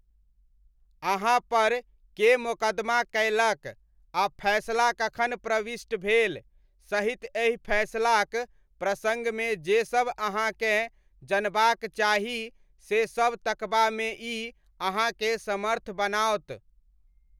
अहाँपर के मोकदमा कयलक आ फैसला कखन प्रविष्ट भेल, सहित एहि फैसलाक प्रसङ्गमे जे सब अहाँकेँ जनबाक चाही से सब तकबामे ई अहाँकेँ समर्थ बनाओत।